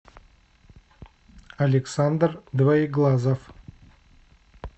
александр двоеглазов